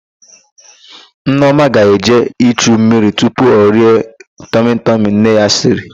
Nneọma ga-eje ichu mmiri tupu o rie tọmịtọmị nne ya siri.